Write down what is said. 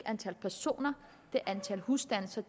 antal personer det er antal husstande så